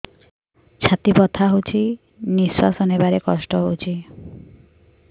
ଛାତି ବଥା ହଉଚି ନିଶ୍ୱାସ ନେବାରେ କଷ୍ଟ ହଉଚି